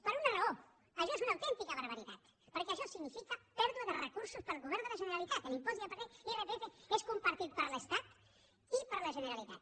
per una raó això és una autèntica barbaritat perquè això significa pèrdua de recursos per al govern de la generalitat l’impost de l’irpf és compartit per l’estat i per la generalitat